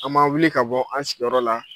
An ma wuli ka bɔ an' sigiyɔrɔ la